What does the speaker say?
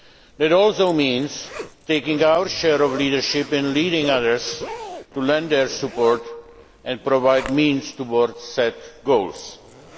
That also means taking our share of leadership and leading others to lend their support and provide means towards the goals set.